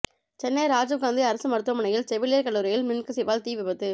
சென்னை ராஜீவ் காந்தி அரசு மருத்துவமனையின் செவிலியர் கல்லூரியில் மின்கசிவால் தீ விபத்து